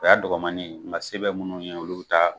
O y'a dɔgɔmani nka se bɛ minnu ye olu bɛ taa